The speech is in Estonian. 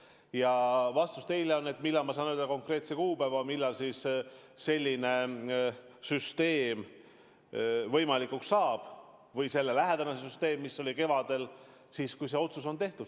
Ja vastus küsimusele, millal ma saan öelda konkreetse kuupäeva, millal selline süsteem võimalikuks saab või selle lähedane süsteem, mis oli kevadel: siis, kui see otsus on tehtud.